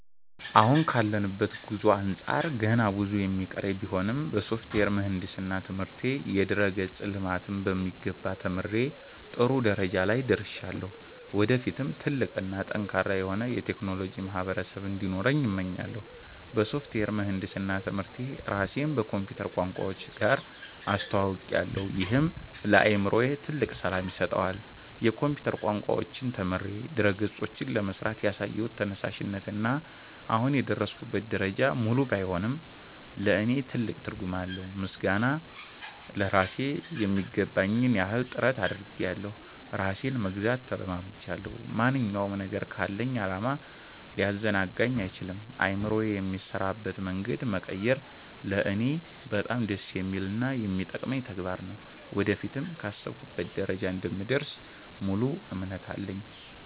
አሁን ካለሁበት ጉዞ አንጻር ገና ብዙ የሚቀረኝ ቢሆንም፣ በሶፍትዌር ምህንድስና ትምህርቴ የድረ-ገጽ ልማትን በሚገባ ተምሬ ጥሩ ደረጃ ላይ ደርሻለሁ። ወደፊትም ትልቅ እና ጠንካራ የሆነ የቴክኖሎጂ ማህበረሰብ እንዲኖረኝ እመኛለሁ። በሶፍትዌር ምህንድስና ትምህርቴ ራሴን ከኮምፒውተር ቋንቋዎች ጋር አስተውውቄያለሁ፤ ይህም ለአእምሮዬ ትልቅ ሰላም ይሰጠዋል። የኮምፒውተር ቋንቋዎችን ተምሬ ድረ-ገጾችን ለመሥራት ያሳየሁት ተነሳሽነት እና አሁን የደረስኩበት ደረጃ፣ ሙሉ ባይሆንም ለእኔ ትልቅ ትርጉም አለው። ምስጋና ለራሴ ....የሚገባኝን ያህል ጥረት አድርጌያለሁ ራሴንም መግዛት ተለማምጃለሁ። ማንኛውም ነገር ካለኝ ዓላማ ሊያዘናጋኝ አይችልም። አእምሮዬ የሚሠራበትን መንገድ መቀየር ለእኔ በጣም ደስ የሚልና የሚጠቅመኝ ተግባር ነው። ወደፊትም ካሰብኩበት ደረጃ እንደምደርስ ሙሉ እምነት አለኝ።